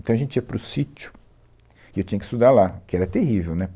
Então, a gente ia para o sítio e eu tinha que estudar lá, que era terrível, né?